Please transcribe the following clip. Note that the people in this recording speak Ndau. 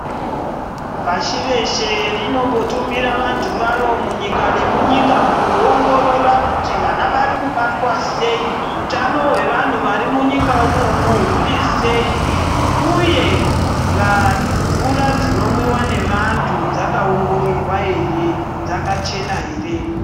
Pashi reshe rinombo tumira vandu varo munyika ne munyika kuno ongorora kuti vana vari kubatwa sei hutano hwe vanhu vari munyika imomo hurisei uye mvura dzino mwiwa ne vandu dzaka ongororwa ere dzaka chena ere.